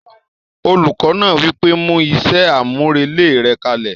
Olùkọ́ náà wí pé "mú iṣẹ́ àmúrelé rẹ kalẹ̀!"